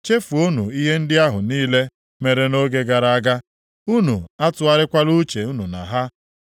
“Chefuonu ihe ndị ahụ niile mere nʼoge gara aga; unu atụgharịkwala uche unu na ha.